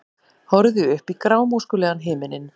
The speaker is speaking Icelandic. Horfði upp í grámóskulegan himininn.